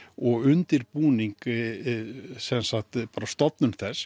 og undirbúning stofnun þess